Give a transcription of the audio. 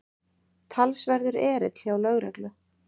Talsverður erill hjá lögreglu